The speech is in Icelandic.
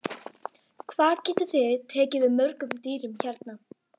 Guðrún Heimisdóttir: Hvað getið þið tekið við mörgum dýrum hérna?